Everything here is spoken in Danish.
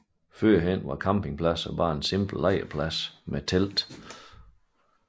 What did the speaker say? Tidligere var campingpladser blot en simpel lejrplads med teltning